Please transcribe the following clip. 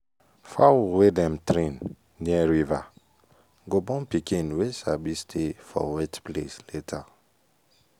fowl wey dem train near river go born pikin wey sabi stay for wet place later.